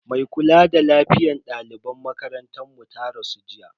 Mai kula a lafiyar dalibai na makarantar mu ta rasu jiya.